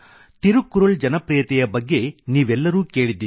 ತಿರುಕ್ಕುರುಳ್ ಜನಪ್ರೀಯತೆಯ ಬಗ್ಗೆ ನೀವೆಲ್ಲರೂ ಕೇಳಿದಿರಿ